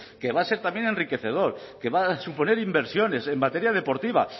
que va a ser también enriquecedor que va a suponer inversiones en materia deportiva